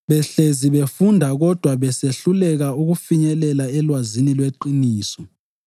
behlezi befunda kodwa besehluleka ukufinyelela elwazini lweqiniso.